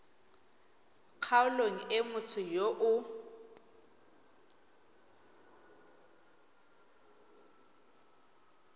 kgaolong e motho yo o